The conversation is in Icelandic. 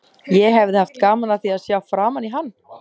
Ég hefði haft gaman af því að sjá framan í hann.